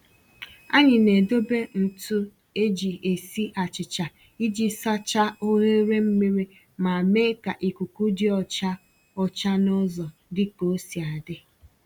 Anyị na-edobe ntụ eji esi achịcha iji sachaa oghere mmiri ma mee ka ikuku dị ọcha ọcha n’ụzọ dị ka osi adị